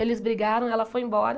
Eles brigaram, ela foi embora.